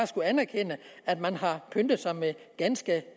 skulle anerkende at man har pyntet sig med